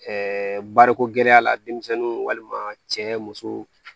wariko gɛlɛ la denmisɛnninw walima cɛ musow